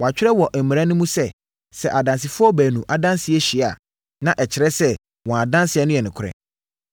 Wɔatwerɛ wɔ mo mmara mu sɛ, sɛ adansefoɔ baanu adanseɛ hyia a, na ɛkyerɛ sɛ wɔn adanseɛ no yɛ nokorɛ.